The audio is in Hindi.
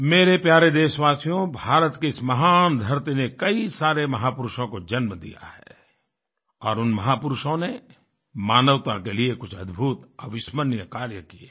मेरे प्यारे देशवासियो भारत की इस महान धरती ने कई सारे महापुरुषों को जन्म दिया है और उन महापुरुषों ने मानवता के लिए कुछ अद्भुत अविस्मरणीय कार्य किये हैं